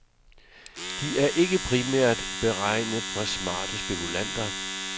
De er ikke primært beregnet for smarte spekulanter.